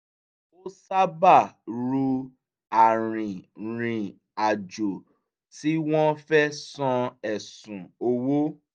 ó sábà ru arìnrìnàjò tí wọ́n fẹ́ san ẹ̀sùn owó